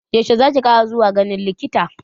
Yaushe zaki kara zuwa ganin likitan?